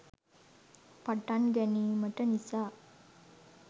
පටන් ගැනීමට නිසා